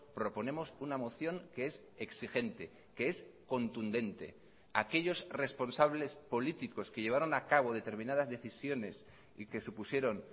proponemos una moción que es exigente que es contundente aquellos responsables políticos que llevaron a cabo determinadas decisiones y que supusieron